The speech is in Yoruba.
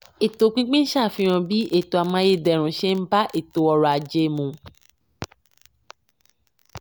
ètò pínpín ṣàfihan bí ètò amáyédẹrùn ṣe n bá ètò ọrọ̀ ajé mu.